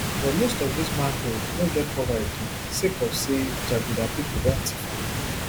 but most of dis manholes no get cover again sake of say jaguda pipo don tiff am